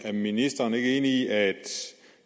er ministeren ikke enig i at